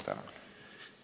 Tänan!